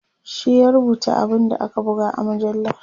shi ya rubuta abun da aka buga a mujallar